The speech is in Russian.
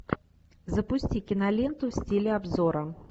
запусти киноленту в стиле обзора